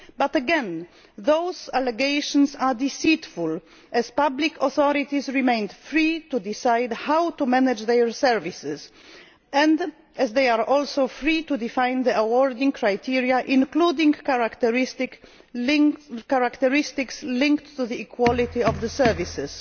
But again those allegations are deceitful, as public authorities remain free to decide how to manage their services, as they are also free to define the award criteria, including characteristics linked to the quality of the services.